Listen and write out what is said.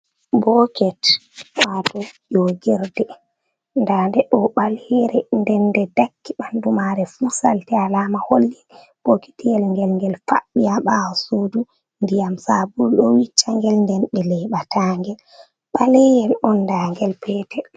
Boket wato ogirde ndan nde ɗo ɓalere nde nde dakki ɓandu mare fu salte, alama holli boketiyel ngel, ngel faɓɓiya ha ɓawo sudu ndiyam sabulu ɗo wiccangel nden ɓe leɓa ta ngel ɓaleyel on nda ngel petel.